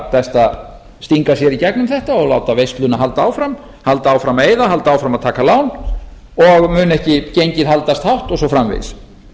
að stinga sér í gegnum þetta og láta veisluna halda áfram halda áfram að eyða halda áfram að taka lán og mun ekki gengið haldast hátt og svo framvegis